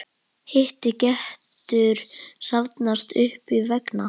Hiti getur safnast upp vegna